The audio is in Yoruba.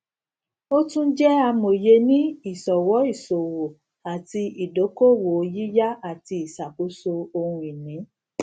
ó tún jẹ amòye ní ìṣọwọ ìṣòwò àti ìdókòwòyíyá àti ìṣàkóso ohun ìní